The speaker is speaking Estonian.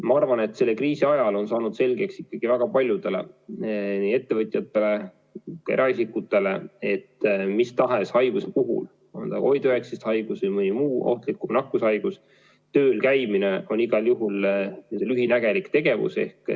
Ma arvan, et selle kriisi ajal on ikkagi väga paljudele, nii ettevõtjatele kui ka eraisikutele selgeks saanud, et mis tahes haiguse puhul, on ta COVID-19 haigus või mõni muu ohtlik nakkushaigus, tööl käimine on igal juhul lühinägelik tegevus.